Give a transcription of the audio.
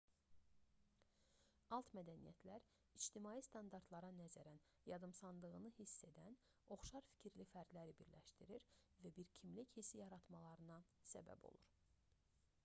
alt mədəniyyətlər ictimai standartlara nəzərən yadımsandığını hiss edən oxşar fikirli fərdləri birləşdirir və bir kimlik hissi yaratmalarına səbəb olur